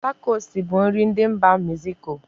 Takosi bụ nri ndị mba meziko.